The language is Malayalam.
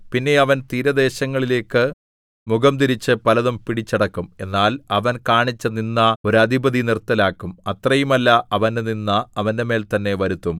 പിന്നെ അവൻ തീരദേശങ്ങളിലേക്ക് മുഖംതിരിച്ച് പലതും പിടിച്ചടക്കും എന്നാൽ അവൻ കാണിച്ച നിന്ദ ഒരു അധിപതി നിർത്തലാക്കും അത്രയുമല്ല അവന്റെ നിന്ദ അവന്റെമേൽ തന്നെ വരുത്തും